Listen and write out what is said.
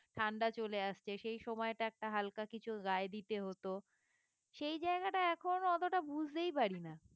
ঠান্ডা চলে আসছে সেই সময়টা একটা হালকা কিছু গায়ে দিতে হত সেই জায়গাটা এখন অতটা বুঝতেই পারিনা